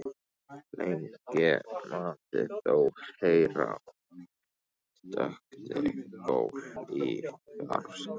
Lengi mátti þó heyra stöku gól í fjarska.